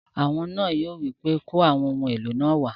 Awo náà yóò wí pé "kó àwọn ohun èlò náà wá!"